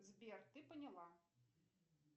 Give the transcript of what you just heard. сбер ты поняла